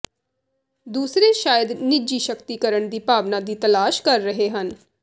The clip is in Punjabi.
ਦੂਸਰੇ ਸ਼ਾਇਦ ਨਿੱਜੀ ਸ਼ਕਤੀਕਰਣ ਦੀ ਭਾਵਨਾ ਦੀ ਤਲਾਸ਼ ਕਰ ਰਹੇ ਹਨ